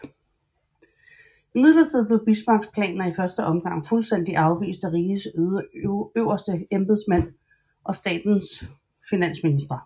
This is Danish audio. Imidlertid blev Bismarcks planer i første omgang fuldstændig afvist af rigets øverste embedsmænd og staternes finansministre